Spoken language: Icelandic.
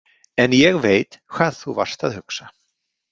En ég veit hvað þú varst að hugsa.